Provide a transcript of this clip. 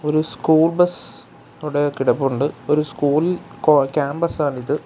ഒരു school bus അവിടെ കിടപ്പുണ്ട് ഒരു സ്കൂൾ കോ ക്യാമ്പസ് ആണിത്.